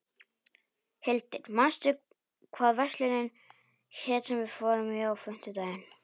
Hildir, manstu hvað verslunin hét sem við fórum í á fimmtudaginn?